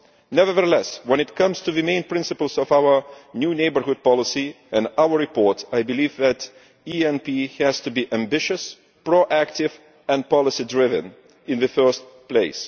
Nevertheless, when it comes to the main principles of our new neighbourhood policy and our report, I believe that the ENP has to be ambitious, proactive and policy driven in the first place.